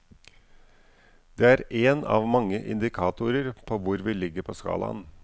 Det er en av mange indikatorer på hvor vi ligger på skalaen.